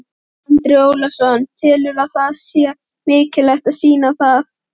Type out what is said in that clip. Andri Ólafsson: Telurðu að það sé mikilvægt að sýna það?